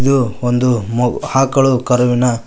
ಇದು ಒಂದು ಮ ಆಕಳು ಕರುವಿನ--